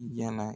Yala